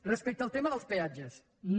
respecte al tema dels peatges no